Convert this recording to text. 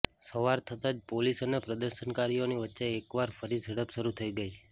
સવાર થતાજ પોલીસ અને પ્રદર્શનકારીઓની વચ્ચે એકવાર ફરી ઝડપ શરૂ થઇ ગઇ